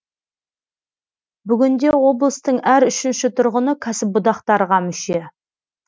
бүгінде облыстың әр үшінші тұрғыны кәсіподақтарға мүше